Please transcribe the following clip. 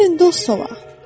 Gəlin dost olaq.